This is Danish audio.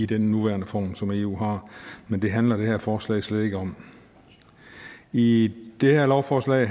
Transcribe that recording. den nuværende form som eu har men det handler det her forslag slet ikke om i det her lovforslag